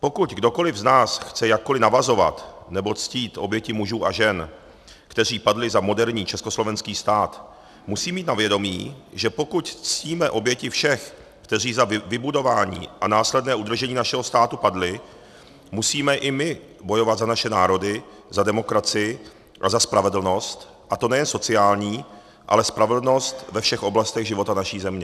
Pokud kdokoliv z nás chce jakkoliv navazovat nebo ctít oběti mužů a žen, kteří padli za moderní československý stát, musí mít na vědomí, že pokud ctíme oběti všech, kteří za vybudování a následné udržení našeho státu padli, musíme i my bojovat za naše národy, za demokracii a za spravedlnost, a to nejen sociální, ale spravedlnost ve všech oblastech života naší země.